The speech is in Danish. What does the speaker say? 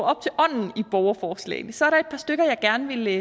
op til ånden i borgerforslagene så er der et par stykker jeg gerne vil